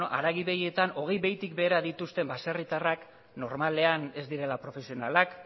haragi behietan hogei behitik behera dituzten baserritarrak normalean ez direla profesionalak